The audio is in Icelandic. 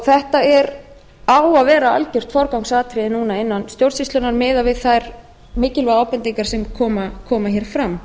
þetta á að vera algjört forgangsatriði núna innan stjórnsýslunnar miðað við þær mikilvægu ábendingar sem koma hér fram